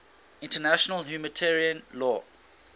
international humanitarian law